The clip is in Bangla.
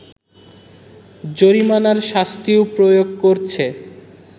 জরিমানার শাস্তিও প্রয়োগ করছে